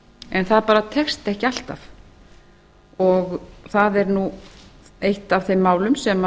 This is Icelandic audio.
en það bara tekst ekki alltaf og það er eitt af þeim málum sem